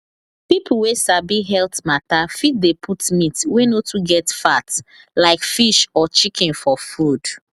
people wey sabi health matter fit dey put meat wey no too get fat like fish or chicken for food